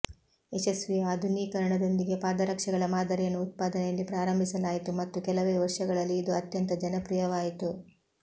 ಯಶಸ್ವಿ ಆಧುನೀಕರಣದೊಂದಿಗೆ ಪಾದರಕ್ಷೆಗಳ ಮಾದರಿಯನ್ನು ಉತ್ಪಾದನೆಯಲ್ಲಿ ಪ್ರಾರಂಭಿಸಲಾಯಿತು ಮತ್ತು ಕೆಲವೇ ವರ್ಷಗಳಲ್ಲಿ ಇದು ಅತ್ಯಂತ ಜನಪ್ರಿಯವಾಯಿತು